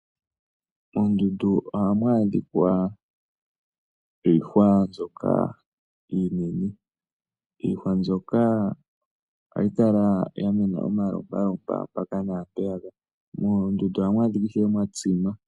Moondundu ohamu adhika iihwa mbyoka iinene. Iihwa mbyoka ohayi kala ya mena omalopalopa mpaka na mpeyaka. Moondundu ohamu adhika mwa tsima.